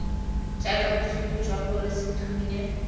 jaaka bosupi jwa gore sethunya